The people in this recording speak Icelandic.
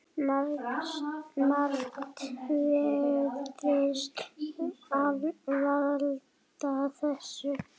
Margt virðist valda þessu.